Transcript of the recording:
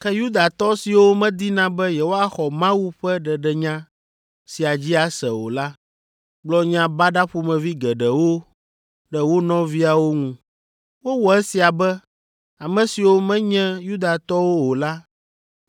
Ke Yudatɔ siwo medina be yewoaxɔ Mawu ƒe ɖeɖenya sia dzi ase o la, gblɔ nya baɖa ƒomevi geɖewo ɖe wo nɔviawo ŋu. Wowɔ esia be ame siwo menye Yudatɔwo o la